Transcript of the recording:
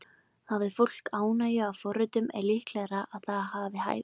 Hafi fólk ánægju af forritun er líklegra að það hafi hæfileika.